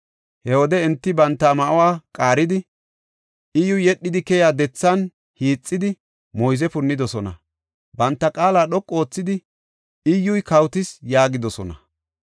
He wode enti banta ma7uwa qaaridi, Iyyuy yedhidi keyiya dethan hiixidi, moyze punnidosona. Banta qaala dhoqu oothidi, “Iyyuy kawotis” yaagidosona.